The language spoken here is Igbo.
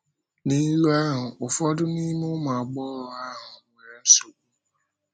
N’ílù ahụ, ụfọdụ n’ime ụmụ agbọghọ ahụ nwere nsogbu.